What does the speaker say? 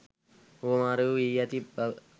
හුවමාරු වී ඇති බව